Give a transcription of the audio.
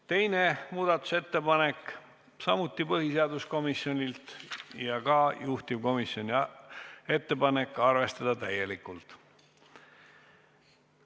Teine muudatusettepanek, samuti põhiseaduskomisjonilt ja ka juhtivkomisjoni ettepanek: arvestada täielikult.